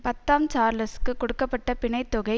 பத்தாம் சார்ல்ஸுக்கு கொடுக்க பட்ட பிணைத்தொகை